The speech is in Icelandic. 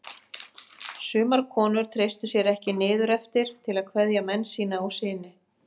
Sumar konur treystu sér ekki niður eftir til að kveðja menn sína og syni.